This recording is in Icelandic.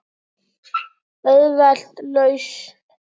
Auðveld lausn.